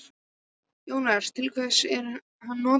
Jóhannes: Til hvers er hann notaður?